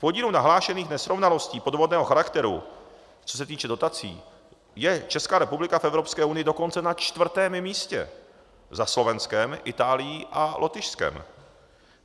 V podílu nahlášených nesrovnalostí podvodného charakteru, co se týče dotací, je Česká republika v Evropské unii dokonce na čtvrtém místě za Slovenskem, Itálií a Lotyšskem.